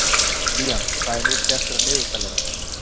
Liam, hvað er mikið eftir af niðurteljaranum?